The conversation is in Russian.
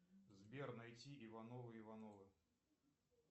сбер найти ивановы ивановы